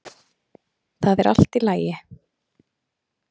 ÞAÐ ER ALLT Í LAGI!